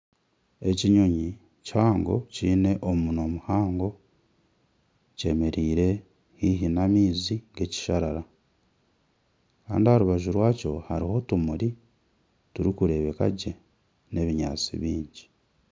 Ekinyonyi kihango kiine omunwa muhango kyemereire haihi n'amaizi n'ekisharara kandi aha rubaju rwakyo hariho otumuri turikureebeka gye n'ebinyaatsi bingi